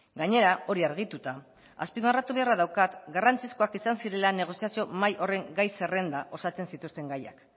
gainera hori argituta azpimarratu beharra daukat garrantzizkoak izan zirela negoziazio mahai horren gai zerrenda osatzen zituzten gaiak